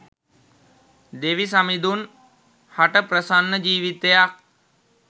දෙවි සමිඳුන් හට ප්‍රසන්න ජීවිතයක්